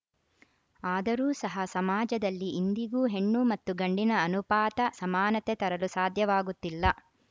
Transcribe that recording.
ಆದರೂ ಸಹ ಸಮಾಜದಲ್ಲಿ ಇಂದಿಗೂ ಹೆಣ್ಣು ಮತ್ತು ಗಂಡಿನ ಅನುಪಾತ ಸಮಾನತೆ ತರಲು ಸಾಧ್ಯವಾಗುತ್ತಿಲ್ಲ